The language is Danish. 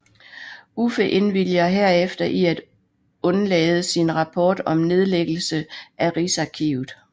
Uffe indvilger herefter i at undlade sin rapport om nedlæggelse af Rigsarkivet